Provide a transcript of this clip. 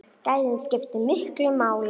Gæðin skiptu miklu máli.